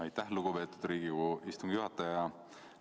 Aitäh, lugupeetud Riigikogu istungi juhataja!